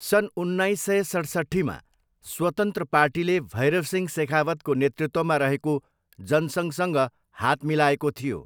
सन् उन्नाइस सय सैतसट्ठीमा स्वतन्त्र पार्टीले भैरवसिंह सेखावतको नेतृत्वमा रहेको जनसङ्घसँग हात मिलाएको थियो।